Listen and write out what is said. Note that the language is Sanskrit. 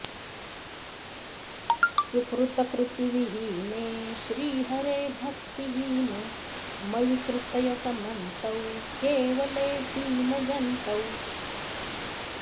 सुकृतकृतिविहीने श्रीहरे भक्तिहीने मयि कृतय समन्तौ केवले दीनजन्तौ